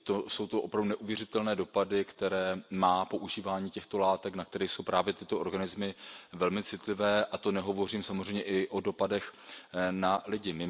Jsou to opravdu neuvěřitelné dopady, které má používání těchto látek, na které jsou právě tyto organismy velmi citlivé, a to nehovořím samozřejmě i o dopadech na lidi.